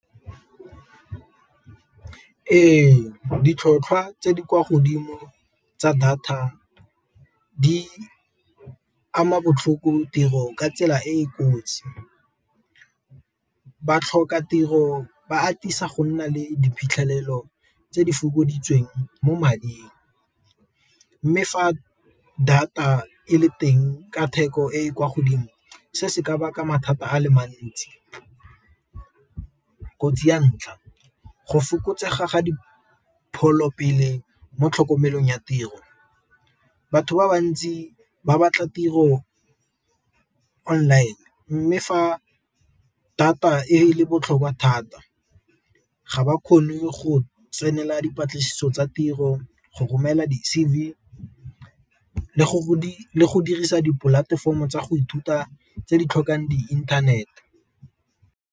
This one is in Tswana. Ee, ditlhotlhwa tse di kwa godimo tsa data di ama botlhoko tiro ka tsela e e kotsi, ba tlhoka tiro ba atisa go nna le diphitlhelelo tse di fokoditsweng mo mading. Mme fa data e le teng ka theko e e kwa godimo se se ka baka mathata a le mantsi, kotsi ya ntlha go fokotsega ga dipholo pele mo tlhokomelong ya tiro, batho ba bantsi ba batla tiro online mme fa data e le botlhokwa thata ga ba kgone go tsenela dipatlisiso tsa tiro go romela di-C_V le go dirisa dipolatefomo tsa go ithuta tse di tlhokang di inthanete.